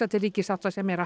til ríkissáttasemjara